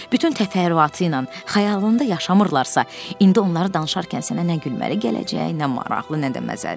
Bütün təfərrüatı ilə xəyalında yaşamırlarsa, indi onları danışarkən sənə nə gülməli gələcək, nə maraqlı, nə də məzəli.